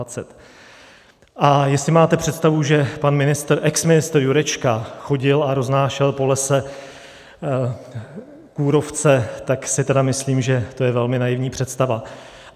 A jestli máte představu, že pan ministr, exministr Jurečka chodil a roznášel po lese kůrovce, tak si tedy myslím, že to je velmi naivní představa.